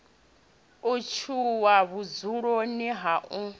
o tshuwa vhudzuloni ha u